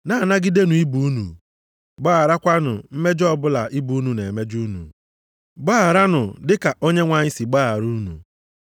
Na-anagidenụ ibe unu, gbagharakwa mmejọ ọbụla ibe unu na-emejọ unu. Gbagharanụ dị ka Onyenwe anyị sị gbaghara unu.